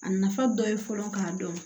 A nafa dɔ ye fɔlɔ k'a dɔn